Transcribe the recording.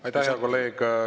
Aitäh, hea kolleeg!